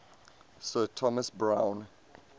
sir thomas browne